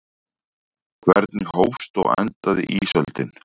Hvernig hófst og endaði ísöldin?